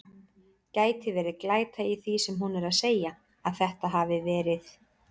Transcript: Gæti verið glæta í því sem hún er að segja. að þetta hafi verið.